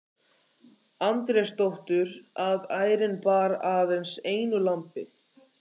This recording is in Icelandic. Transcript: Andrésdóttur, að ærin bar aðeins einu lambi.